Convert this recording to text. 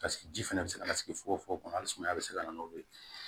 Paseke ji fɛnɛ be se ka na sigi fogo fogo kɔnɔ hali sumaya be se ka na n'o ye